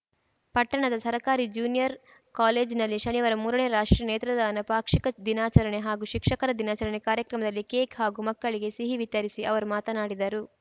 ಪಟ್ಟಣದ ಸರಕಾರಿ ಜ್ಯೂನಿಯರ್‌ ಕಾಲೇಜಿನಲ್ಲಿ ಶನಿವಾರ ಮೂರನೇ ರಾಷ್ಟ್ರೀಯ ನೇತ್ರದಾನ ಪಾಕ್ಷಿಕ ದಿನಾಚರಣೆ ಹಾಗೂ ಶಿಕ್ಷಕರ ದಿನಾಚರಣೆ ಕಾರ್ಯಕ್ರಮದಲ್ಲಿ ಕೇಕ್‌ ಹಾಗೂ ಮಕ್ಕಳಿಗೆ ಸಿಹಿ ವಿತರಿಸಿ ಅವರು ಮಾತನಾಡಿದರು